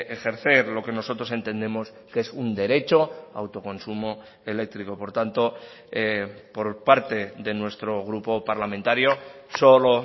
ejercer lo que nosotros entendemos que es un derecho autoconsumo eléctrico por tanto por parte de nuestro grupo parlamentario solo